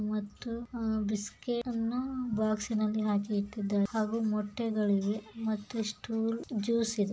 ಮತ್ತು ಬಿಸ್ಕೆಟ್ ಅನ್ನ ಬಾಟನಲ್ಲಿ ಹಾಕಿಕ್ಕಿದ್ದಾರೆ ಹಾಗೂ ಮುಟ್ಟೆಗಳು ಇವೆ ಹಾಗೂ ಜ್ಯೂಸ್ ಇದೆ.